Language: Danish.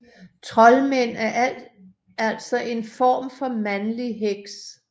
Troldmænd er altså en form for mandlig heks